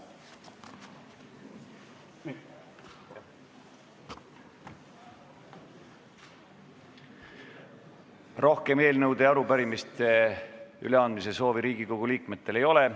Rohkem eelnõude ja arupärimiste üleandmise soovi Riigikogu liikmetel ei ole.